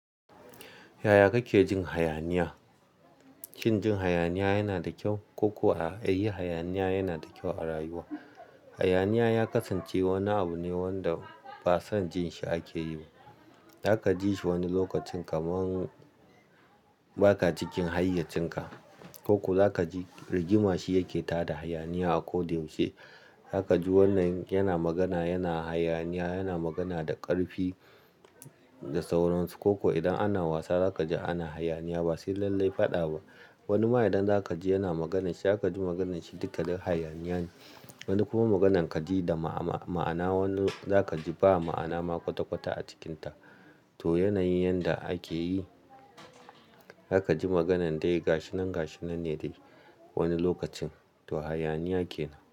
Yaya kake jin hayaniya? Shin jin hayaniya yana da kyau ko kuwa a yi hayaniya yana da kyau a rayuwa? Hayaniya ya kasance wani abu ne wanda ba son jin shi ake yi. Zaka ji shi wani lokacin kamar ba ka cikin hayyacinka ko kuwa za ka ji rigima shi yake tada hayaniya a ko da yaushe. Zaka ji wannan yana magana, yana hayaniya, yana magana da ƙarfi, da sauransu ko kuwa idan ana wasa za ka ji ana hayaniya. Ba sai lallai faɗa ba. Wani ma idan za ka ji yana maganar shi, za ka ji maganar shi duka dai hayaniya ne. Wani kuma maganan ka ji da ma'ana, wani za ka ji ba ma'ana ma kwata-kwata a cikinta. To yana yin yanda ake yi. Zaka ji maganan dai gashinan gashinan ne dai wani lokacin. To hayaniya kenan.